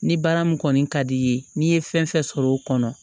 Ni baara min kɔni ka d'i ye n'i ye fɛn fɛn sɔrɔ o kɔnɔ